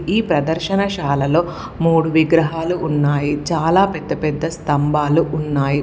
ఈ ప్రదర్శనశాలలో మూడు విగ్రహాలు ఉన్నాయి. చాలా పెద్ద పెద్ద స్థంభాలు ఉన్నాయి.